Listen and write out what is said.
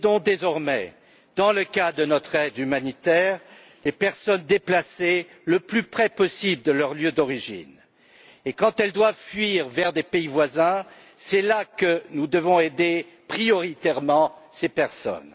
Désormais, dans le cas de notre aide humanitaire, nous aidons les personnes déplacées le plus près possible de leur lieu d'origine et, quand elles doivent fuir vers des pays voisins, c'est là que nous devons aider en priorité ces personnes.